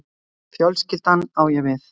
Fjölskyldan, á ég við